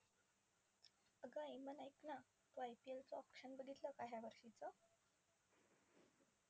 अगं ऐक ना तू IPL च auction बघितलं का या वर्षीचं?